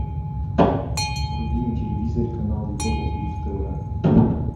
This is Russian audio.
вруби на телевизоре канал европа плюс тв